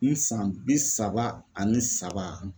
I san bi saba ani saba